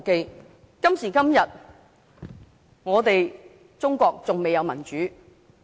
中國今時今日還未有民主。